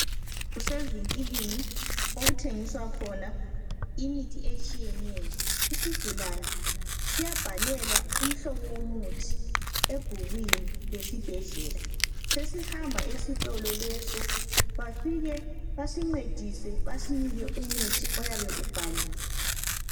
Kusevinkilini okuthengiswa khona imithi etshiyeneyo. Isigulani siyabhalelwa umhlobo womuthi ebhukwini lesibhedlela. Sesihamba esitolo leso bafike basincedise basinike umuthi oyabe ubhaliwe.